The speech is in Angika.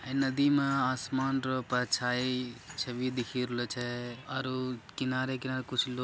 इ नदी में आसमान छवि दिखी रहलो छै आरो किनारे-किनारे कुछो लोग --